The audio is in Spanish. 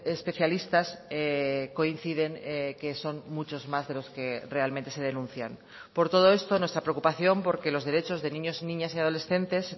especialistas coinciden que son muchos más de los que realmente se denuncian por todo esto nuestra preocupación porque los derechos de niños niñas y adolescentes